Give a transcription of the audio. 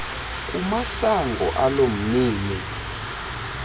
kumasango alo mnini